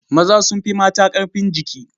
Maza sun fi mata ƙarfin jiki.